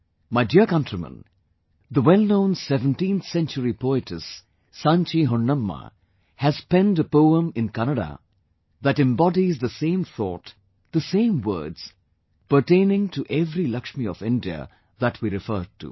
My dear countrymen, the well known 17th century poetess Sanchi Honnamma has penned a poem in Kannada that embodies the same thought, the same words pertaining to every Lakshmi of India that we referred to